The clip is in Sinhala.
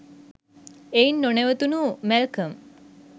එයින් නොනැවතුනු මැල්කම්